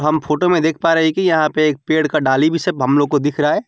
हम फोटो में देख पा रहे हैं कि यहां पर एक पेड़ का डाली भी सब हम लोग को दिख रहा है।